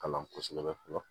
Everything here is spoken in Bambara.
Kalan kosɛbɛ fɔlɔ